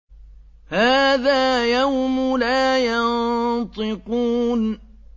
هَٰذَا يَوْمُ لَا يَنطِقُونَ